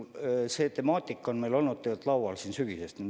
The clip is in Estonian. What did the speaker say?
Jah, see temaatika on meil olnud laual sügisest peale.